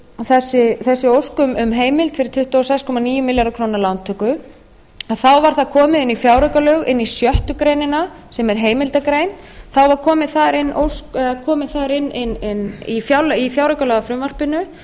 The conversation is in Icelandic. þessi ósk um heimild fyrir tuttugu og sex komma níu milljarða króna lántöku að þá var það komið inn í fjáraukalög inn í sjöttu grein sem er heimildargrein þá var kominn þar inn í fjáraukalagafrumvarpinu